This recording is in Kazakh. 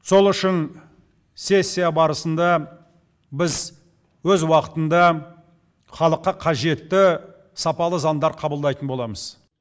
сол үшін сессия барысында біз өз уақытында халыққа қажетті сапалы заңдар қабылдайтын боламыз